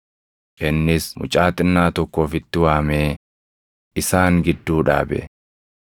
Innis mucaa xinnaa tokko ofitti waamee isaan gidduu dhaabe.